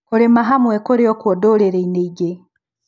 Kũrima hamwe kurĩokuo ndũrĩrĩ-inĩ ingĩ.